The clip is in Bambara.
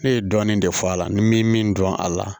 Ne ye dɔɔnin de fɔ a la ni n bɛ min dɔn a la